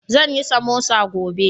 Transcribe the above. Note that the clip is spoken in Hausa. Zan yi samosa gobe.